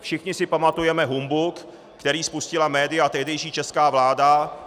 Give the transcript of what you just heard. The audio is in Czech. Všichni si pamatujeme humbuk, který spustila média a tehdejší česká vláda -